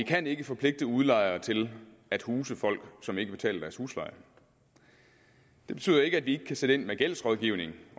kan ikke forpligte udlejere til at huse folk som ikke betaler deres husleje det betyder ikke at vi ikke kan sætte ind med gældsrådgivning